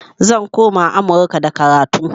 Zan koma amurka da karatu